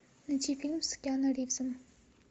найти фильм с киану ривзом